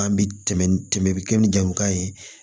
An bi tɛmɛ ni kɛ ni jamukan ye